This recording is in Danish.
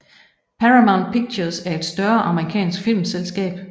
Paramount Pictures er et større amerikansk filmselskab